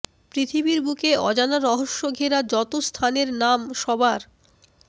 পৃথিবীর বুকে অজানা রহস্য ঘেরা যতো স্থানের নাম সবার